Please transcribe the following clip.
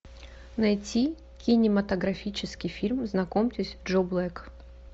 найти кинематографический фильм знакомьтесь джо блэк